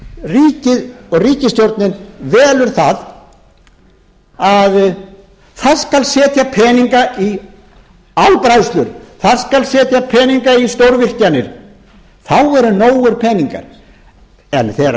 ríkið og ríkisstjórnin velur að þar skal setja peninga í álbræðslur það skal setja peninga í stórvirkjanir þá eru nógir peningar en þegar